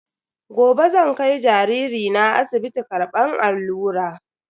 Gobe zan kai jariri na asibiti karbar allura.